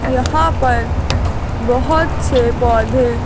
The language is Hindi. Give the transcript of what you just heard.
यहां पर बहुत से पौधे--